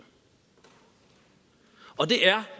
og det er